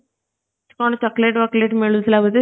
କଣ chocolate ବୋକୋଲଟ୍ ମିଳୁ ଥିଲା ବୋଧେ